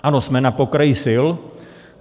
Ano, jsme na pokraji sil.